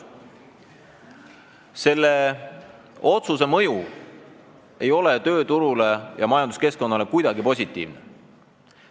Selle otsuse mõju tööturule ja majanduskeskkonnale ei ole kuidagi positiivne.